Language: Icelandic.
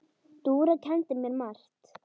Dúra kenndi mér margt.